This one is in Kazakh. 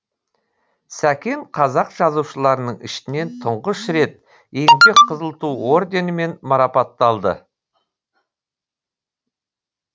сәкен қазақ жазушыларының ішінен тұңғыш рет еңбек қызыл ту орденімен марапатталды